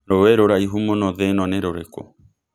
rũi rũraihu mũno thĩ ĩno nĩ rũrikũ